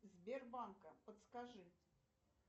сбербанка подскажи